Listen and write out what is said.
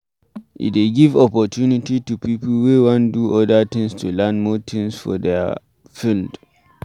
E dey give opportunity to pipo wey wan do other things to learn more things for their field